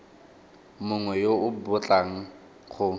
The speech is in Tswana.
mongwe yo o batlang go